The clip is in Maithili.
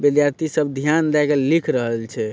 विद्यार्थी सब ध्यान देए के लिख रहल छै।